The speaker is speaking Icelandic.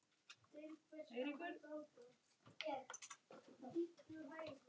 Leggur hönd að kinn.